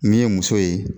Min ye muso ye